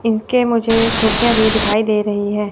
इनके मुझे खिड़कियां भी दिखाई दे रही है।